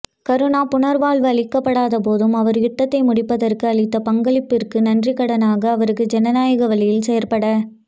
கருணா புனர்வாழ்வளிக்கப்படாத போதும் அவர் யுத்தத்தை முடிப்பதற்கு அளித்த பங்களிப்பிற்கு நன்றிக் கடனாக அவருக்கு ஜனநாயக வழியில் செயற்பட